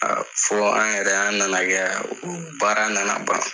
A fɔ an yɛrɛ an nana kɛ o baara nana ban